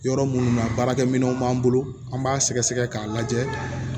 Yɔrɔ minnu na baarakɛminɛw b'an bolo an b'a sɛgɛ sɛgɛ k'a lajɛ